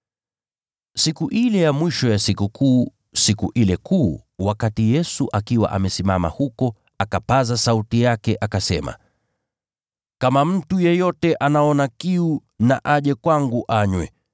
Siku ile ya mwisho ya Sikukuu, siku ile kuu, wakati Yesu akiwa amesimama huko, akapaza sauti yake akasema, “Kama mtu yeyote anaona kiu na aje kwangu anywe.